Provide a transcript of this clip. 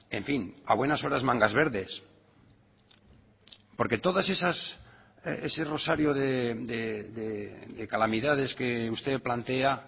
en fin a buenas horas mangas verdes porque todas esas ese rosario de calamidades que usted plantea